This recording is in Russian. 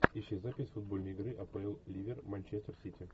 ищи запись футбольной игры апл ливер манчестер сити